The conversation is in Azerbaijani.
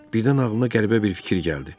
Birdən ağlına qəribə bir fikir gəldi.